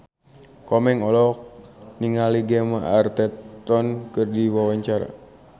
Komeng olohok ningali Gemma Arterton keur diwawancara